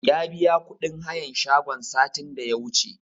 Ya biya kuɗin hayan shagon satin da ya wuce